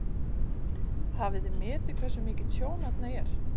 Hafið þið metið hversu mikið tjón þarna er?